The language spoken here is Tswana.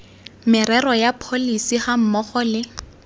merero ya pholesi gammogo le